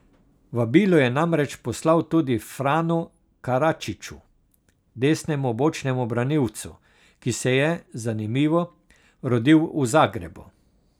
Vabilo je namreč poslal tudi Franu Karačiću, desnemu bočnemu branilcu, ki se je, zanimivo, rodil v Zagrebu.